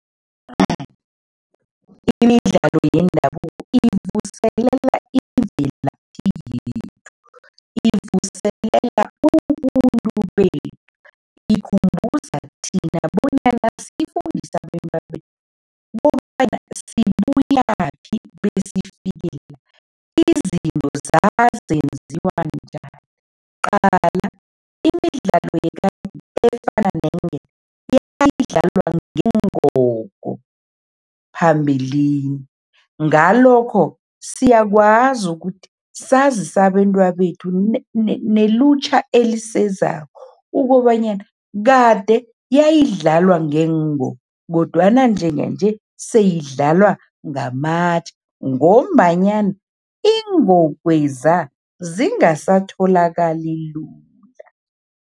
Awa, imidlalo yendabuko ivuselela imvelaphi yethu, ivuselela ubuntu bethu, ikhumbuza thina bonyana sifundise abentwabethu kobana sibuyaphi besifike la, izinto zazenziwa njani. Qala, imidlalo yekadeni efana neenketo, yayidlalwa ngeengogo phambilini, ngalokho, siyakwazi ukuthi sazise abentwabethu nelutjha elisezako ukobanyana kade yayidlalwa kodwana njenganje seyidlalwa ngamatje ngombanyana iingogweza, zingasatholakali lula.